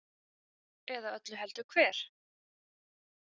Eða öllu heldur hver?